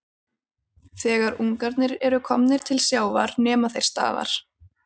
Þegar ungarnir eru komnir til sjávar nema þeir staðar.